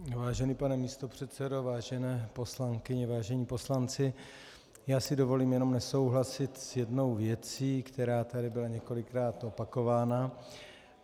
Vážený pane místopředsedo, vážené poslankyně, vážení poslanci, já si dovolím jenom nesouhlasit s jednou věcí, která tady byla několikrát opakována.